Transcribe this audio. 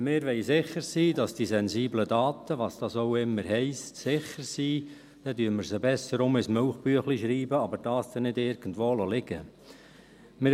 Wenn wir sicher sein wollen, dass diese sensiblen Daten – was dies auch immer heisst – sicher sind, dann schreiben wir sie besser wieder ins Milchbüchlein, aber dieses dürfen wir dann nicht irgendwo liegen lassen.